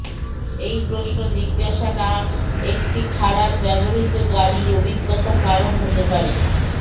এই প্রশ্ন জিজ্ঞাসা না একটি খারাপ ব্যবহৃত গাড়ী অভিজ্ঞতা কারণ হতে পারে